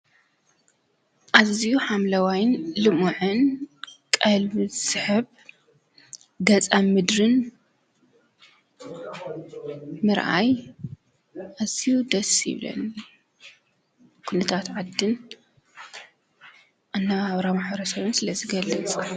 ኣዝዩ ሓምለዋይን ልሙዕን ቀልቢ ዝስሕብ ገፀ ምድሪን ምርኣይ ኣዝዩ ደስ ይብለኒ። ኩነታት ዓድን ኣነባብራ ማሕበር ሰብን ስለ ዝገልፅ።